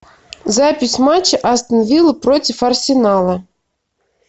запись матча астон вилла против арсенала